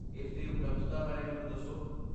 ਇਸ ਦੀ ਉਪਲਬਧਤਾ ਬਾਰੇ ਮੈਨੂੰ ਦੱਸੋ।